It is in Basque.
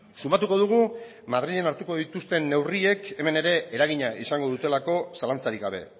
sumatuko dugu madrilen hartuko dituzten neurriek hemen ere eragina izango dutelako zalantzarik gabe